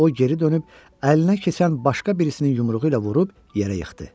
O geri dönüb əlinə keçən başqa birisinin yumruğu ilə vurub yerə yıxdı.